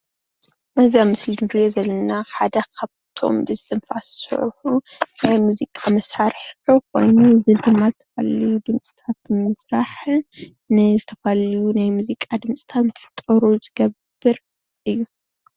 እዚ አብ ምስሊ እንሪኦ ዘለና ሓደ ካብቶም ብስትንፍስ ዝሰርሑ ናይ ሙዚቃ መሳርሒ ኮይኑ እዚ ድማ ብቀሊሉ ድምፅታት ንምስራሕ ንዝተፈላለዩ ናይ ሙዚቃ ድምፅታት እንትፍጠሩ ዝገብር እዩ።